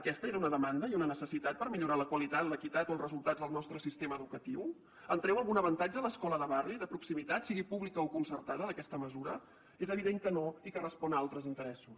aquesta era una demanda i una necessitat per millorar la qualitat l’equitat o els resultats del nostre sistema educatiu en treu algun avantatge l’escola de barri de proximitat sigui pública o concertada d’aquesta mesura és evident que no i que respon a altres interessos